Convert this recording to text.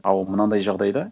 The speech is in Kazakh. ал мынанадай жағдайда